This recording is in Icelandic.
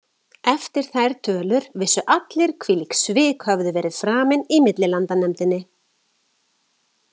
Eftir þær tölur vissu allir hvílík svik höfðu verið framin í millilandanefndinni.